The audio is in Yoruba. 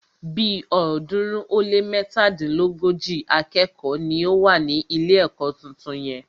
Bí ọ̀ọ́dúnrún ó lé mẹ́tàdínlógójì akẹ́kọ̀ọ́ ni ó wà ní ilé ẹ̀kọ́ tuntun yẹn.